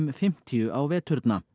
fimmtíu á veturna